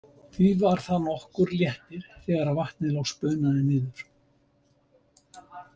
Því var það nokkur léttir þegar vatnið loks bunaði niður.